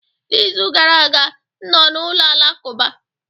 n'izu gara aga, m nọ na ụlọ alakụba